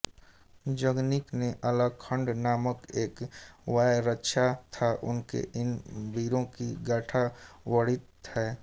जगनिक ने आल्हखण्ड नामक एक काव्य रचा था उसमें इन वीरों की गाथा वर्णित है